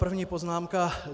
První poznámka.